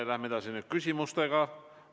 Läheme küsimustega edasi.